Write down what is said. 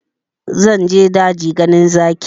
Zan je daji ganin zaki